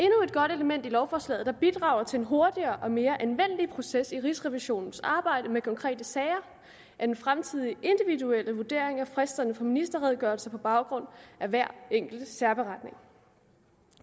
element i lovforslaget der bidrager til en hurtigere og mere anvendelig proces i rigsrevisionens arbejde med konkrete sager er den fremtidige individuelle vurdering af fristerne for ministerredegørelser på baggrund af hver enkelte særberetning